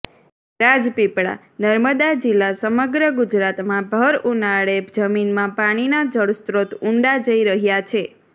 રાજપીપળા ઃ નર્મદા જિલ્લા સમગ્ર ગુજરાતમા ભર ઉનાળે જમીનમાં પાણીના જળસ્ત્રોત ઊંડા જઇ રહયા છે